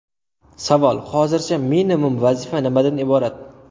Savol: Hozircha, minimum vazifa nimadan iborat?